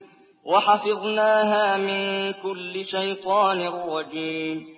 وَحَفِظْنَاهَا مِن كُلِّ شَيْطَانٍ رَّجِيمٍ